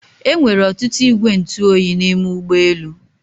Enwere ọtụtụ igwe ntụ oyi n'ime ụgbọ elu